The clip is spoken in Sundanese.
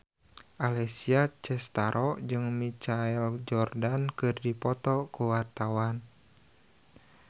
Alessia Cestaro jeung Michael Jordan keur dipoto ku wartawan